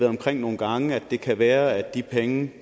omkring nogle gange at det kan være at de penge